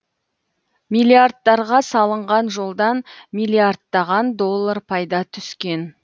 миллиардтарға салынған жолдан миллиардтаған доллар пайда түскен